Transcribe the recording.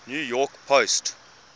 new york post